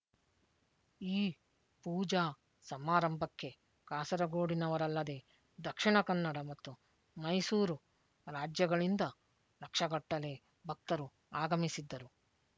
ಈ ಪೂಜಾ ಸಮಾರಂಭಕ್ಕೆ ಕಾಸರಗೋಡಿನವರಲ್ಲದೆ ದಕ್ಷಿಣ ಕನ್ನಡ ಮತ್ತು ಮೈಸೂರು ರಾಜ್ಯಗಳಿಂದ ಲಕ್ಷಗಟ್ಟಲೆ ಭಕ್ತರು ಆಗಮಿಸಿದ್ದರು